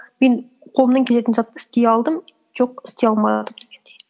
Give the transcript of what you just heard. мен қолымнан келетін затты істей алдым жоқ істей алмадым дегендей